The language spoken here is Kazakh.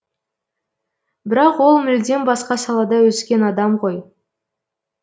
бірақ ол мүлдем басқа салада өскен адам ғой